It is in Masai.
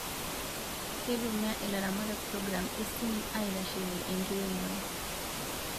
Keitumia ilaramatak program e simu aitashekii enkiremore